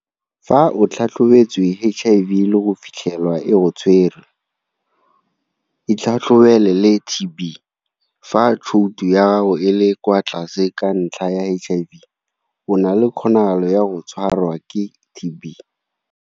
Fa o tlhatlhobetswe HIV le go fitlhelwa e go tshwere, itlhatlhobele le TB. Fa tshouto ya gago e le kwa tlase ka ntlha ya HIV, o na le kgonagalo ya go tshwarwa ke TB.